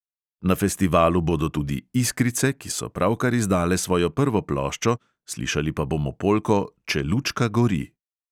Na festivalu bodo tudi iskrice, ki so pravkar izdale svojo prvo ploščo, slišali pa bomo polko "če lučka gori".